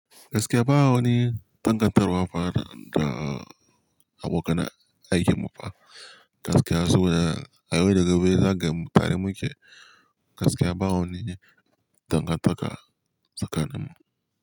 Gaskiya bawani tangar tarwa fa da abokan aikin mu fa. Gaskiya saboda abin da gobe zagenmu tare muke. Gaskiya bawo ni dangantaka tsakanin mu.